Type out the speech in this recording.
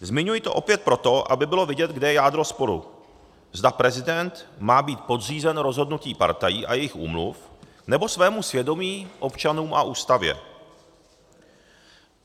Zmiňuji to opět proto, aby bylo vidět, kde je jádro sporu, zda prezident má být podřízen rozhodnutí partají a jejich úmluv, nebo svému svědomí, občanům a Ústavě.